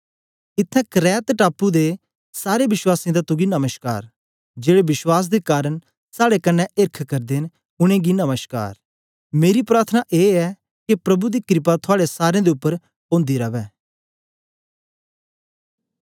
इत्त्थैं करेत्त टापू दे सारे वश्वासीयें दा तुगी नमश्कार जेड़े विश्वास दे कारन साड़े कन्ने एर्ख करदे न उनेंगी नमश्कार मेरी प्रार्थना ए ऐ के प्रभु दी क्रपा थुआड़े सारें दे उपर ओंदी रवै